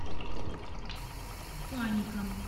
фаником